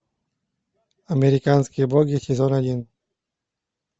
американские боги сезон один